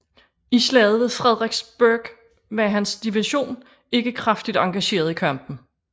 I Slaget ved Fredericksburg var hans division ikke kraftigt engageret i kampen